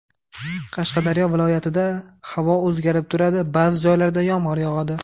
Qashqadaryo viloyatida havo o‘zgarib turadi, ba’zi joylarda yomg‘ir yog‘adi.